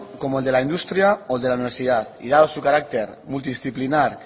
como el de la industria o de la universidad y dado su carácter multidisciplinar